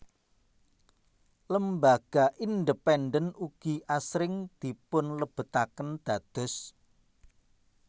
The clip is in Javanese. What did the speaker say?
Lembaga independen ugi asring dipunlebetaken dados